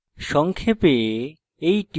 সংক্ষেপে